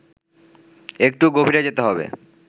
একটু গভীরে যেতে হবে